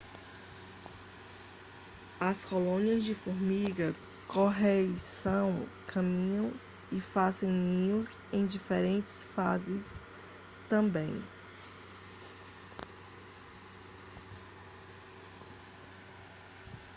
as colônias de formiga-correição caminham e fazem ninhos em diferentes fases também